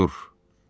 Artur.